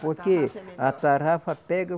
Por que a tarrafa pega